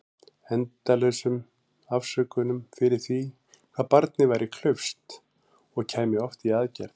Endalausum afsökunum fyrir því hvað barnið væri klaufskt- og kæmi oft í aðgerð.